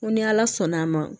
N ko ni ala sɔnn'a ma